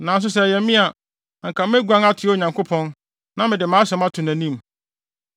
“Nanso sɛ ɛyɛ me a, anka meguan atoa Onyankopɔn; na mede mʼasɛm ato nʼanim.